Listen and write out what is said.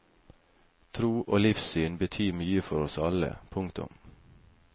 Tro og livssyn betyr mye for oss alle. punktum